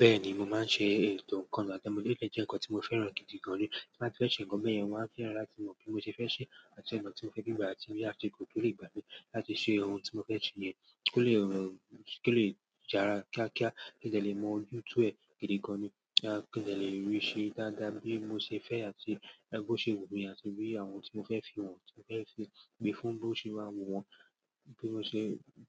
Bẹ́ẹ̀ni, mo máa ń ṣe ètò nǹkan àti ọmọdé je ǹkan tí mo fẹ́ràn gidi gan ni. Tí a bá fẹ́ ṣe ǹkan beyen wọn máa fẹ́ràn láti mọ bí mo ṣe fẹ́ ṣe àti ǹkan tí mo fẹ́ fi gbà àti bí a ṣe le gbò ó lórí ìgbàlé láti ṣe ohun tí mo fẹ́ ṣe yẹn kí ó le, kí ó le jara kíákíá kí n tó lè mọ YouTube gidi gan ni kí n tó lè rí i ṣe dáadáa bí mo ṣe fẹ́ àti ẹni tó ṣe wò ó ni àti bí àwọn ohun tí mo fẹ́ fi wọ̀n tí mo fẹ́ fi gbé fún un ló ṣe máa wò wọ́n bí mo ṣe